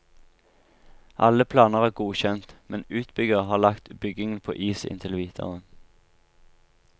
Alle planer er godkjent, men utbygger har lagt byggingen på is inntil videre.